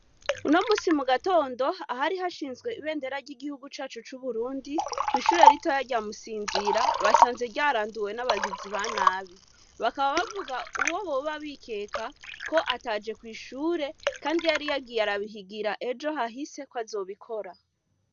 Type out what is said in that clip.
Unomunsi mugatondo ahari hashinzwe ibendera ry'igihugu cacu c'Iburundi kw'ishure ritoya rya musinzira, basanze ryaranduwe n'abagizi ba nabi, bakaba bavuga uwo boba bikeka ko ataje kw'ishure kandi yari yagiye arabihigira ejo hahise kwazobikora.